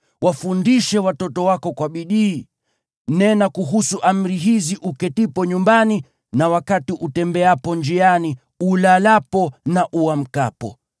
Wafundishe watoto wako kwa bidii. Nena kuhusu amri hizi uketipo nyumbani na wakati utembeapo njiani, ulalapo na uamkapo.